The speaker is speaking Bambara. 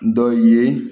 Dɔ ye